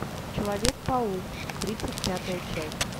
человек паук тридцать пятая часть